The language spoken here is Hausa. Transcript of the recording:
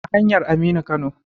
A hanyar Aminu Kano.